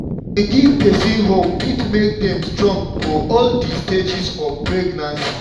to dey give person hope fit make dem strong for all di stages of pregnancy.